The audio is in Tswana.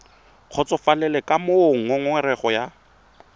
kgotsofalele ka moo ngongorego ya